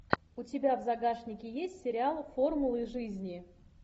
у тебя в загашнике есть сериал формулы жизни